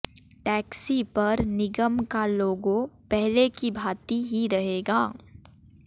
taxi पर निगम का लोगों पहले की भांति ही रहेगा